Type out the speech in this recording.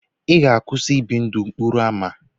Ị ga-akwụsị ị bi ndụ n'okporo ámá?